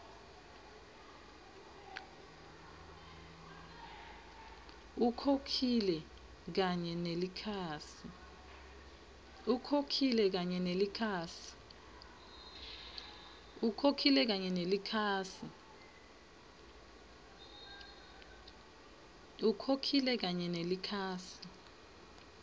ukhokhile kanye nelikhasi